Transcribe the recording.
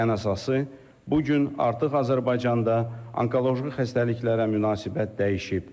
Ən əsası, bu gün artıq Azərbaycanda onkoloji xəstəliklərə münasibət dəyişib.